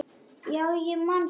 Já, ég man þetta allt.